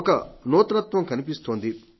ఒక నూతనత్వం కనిపిస్తోంది